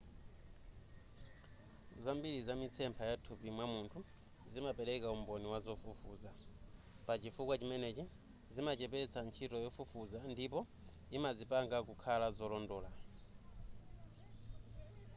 zambiri za mitsempha ya mthupi mwa munthu zimapereka umboni wa zofufuza pachifukwa chimenechi zimachepetsa ntchito yofufuza ndipo imazipanga kukhala zolondola